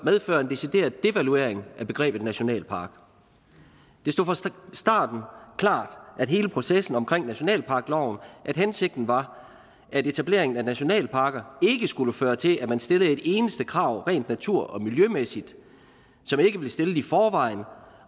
medføre en decideret devaluering af begrebet nationalpark det stod fra starten klart med hele processen omkring nationalparkloven at hensigten var at etablering af nationalparker ikke skulle føre til at man stillede et eneste krav rent natur og miljømæssigt som ikke var stillet i forvejen